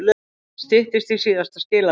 Styttist í síðasta skiladag